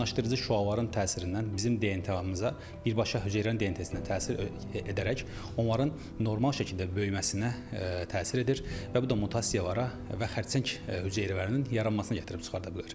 İonlaşdırıcı şüaların təsirindən bizim DNT-mıza birbaşa hüceyrə DNT-sinə təsir edərək, onların normal şəkildə böyüməsinə təsir edir və bu da mutasiyalara və xərçəng hüceyrələrinin yaranmasına gətirib çıxarda bilər.